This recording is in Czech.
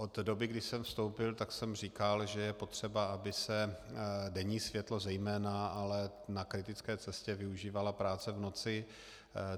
Od doby, kdy jsem vstoupil, tak jsem říkal, že je potřeba, aby se denní světlo zejména, ale na kritické cestě využívala práce v noci.